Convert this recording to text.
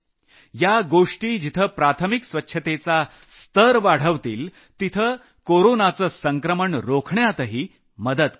या गोष्टी जिथं प्राथमिक स्वच्छतेचा स्तर वाढवतील तिथं कोरोनाचं संक्रमण रोखण्यातही मदत करतील